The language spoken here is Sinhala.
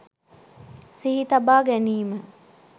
සිහි තබා ගැනීම